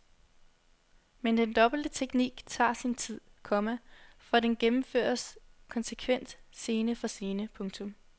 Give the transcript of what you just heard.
Men den dobbelte teknik tager sin tid, komma for den gennemføres konsekvent scene for scene. punktum